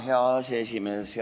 Hea aseesimees!